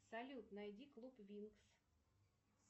салют найди клуб винкс